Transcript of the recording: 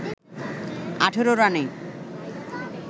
১৮ রানে